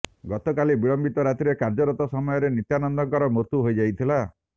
ଗତକାଲି ବିଳମ୍ବିତ ରାତିରେ କାର୍ଯ୍ୟରତ ସମୟରେ ନିତ୍ୟାନନ୍ଦଙ୍କର ମୃତ୍ୟୁ ହୋଇଯାଇଥିଲା